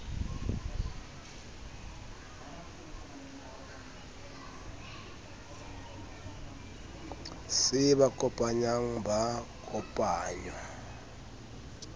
se ba kopanyang ba kopangwa